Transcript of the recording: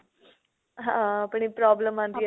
ਹਾਂ ਆਪਣੇ problem ਆਂਦੀ